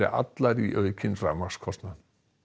allar í aukinn rafmagnskostnað